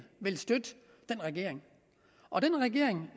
vil støtte den regering og den regering